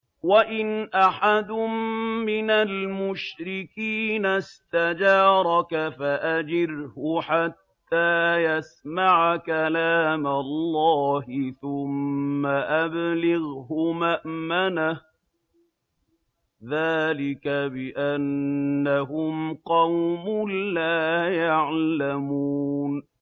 وَإِنْ أَحَدٌ مِّنَ الْمُشْرِكِينَ اسْتَجَارَكَ فَأَجِرْهُ حَتَّىٰ يَسْمَعَ كَلَامَ اللَّهِ ثُمَّ أَبْلِغْهُ مَأْمَنَهُ ۚ ذَٰلِكَ بِأَنَّهُمْ قَوْمٌ لَّا يَعْلَمُونَ